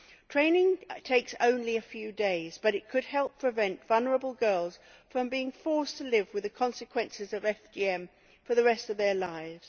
Training takes only a few days but it could help prevent vulnerable girls from being forced to live with the consequences of FGM for the rest of their lives.